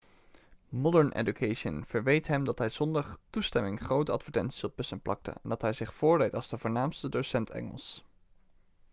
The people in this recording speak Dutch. modern education verweet hem dat hij zonder toestemming grote advertenties op bussen plakte en dat hij zich voordeed als de voornaamste docent engels